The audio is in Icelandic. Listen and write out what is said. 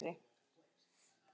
Það gerðu reyndar margir fleiri.